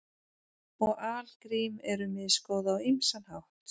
Og algrím eru misgóð á ýmsan hátt.